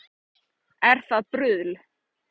Er það bruðl